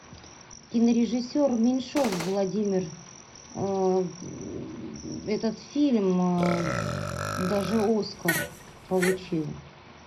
кинорежиссер меньшов владимир этот фильм даже оскар получил